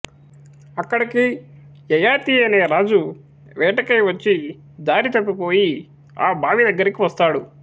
అక్కడికి యయాతి అనే రాజు వేట కై వచ్చి దారి తప్పి పోయి ఆ బావి దగ్గరికి వస్తాడు